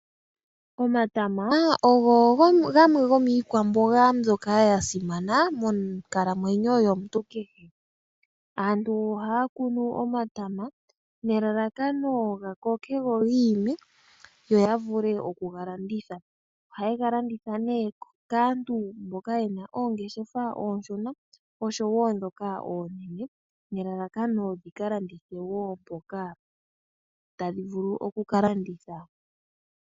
Omatama ogo gamwe gomiikwamboga mbyoka ya simana monkalamwenyo yomuntu kehe. Aantu ohaya kunu omatama nelalakano ga koke go giime, yo ya vule okuga landitha. Ohaye ga landitha ne kaantu mboka ye na oongeshefa oonshona osho wo ndhoka oonene nelalakano dhi kalandithwe wo mpono tadhi vulu kukalanditha.